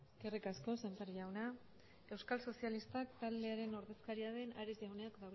eskerrik asko sémper jauna euskal sozialistak talderen ordezkaria den ares jaunak